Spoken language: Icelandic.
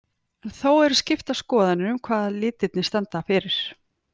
En þó eru skiptar skoðanir um hvað litirnir standa fyrir.